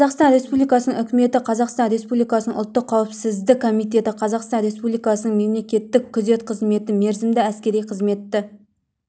қазақстан республикасының үкіметі қазақстан республикасының ұлттық қауіпсіздік комитеті қазақстан республикасының мемлекеттік күзет қызметі мерзімді әскери қызметті